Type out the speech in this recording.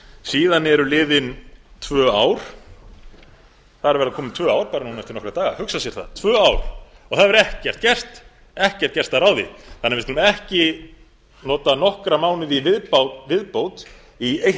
síðan eru liðin tvö ár það eru að verða komin tvö ár bara núna eftir nokkra daga að hugsa sér það tvö ár það hefur ekkert gerst ekkert gerst að ráði þannig að við skulum ekki nota nokkra mánuði í viðbót í eitt